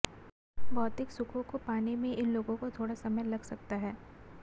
भौतिक सुखों को पाने में इन लोगों को थोड़ा समय लग सकता है